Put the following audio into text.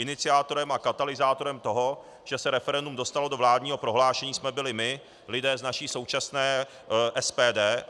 Iniciátorem a katalyzátorem toho, že se referendum dostalo do vládního prohlášení, jsme byli my, lidé z naší současné SPD.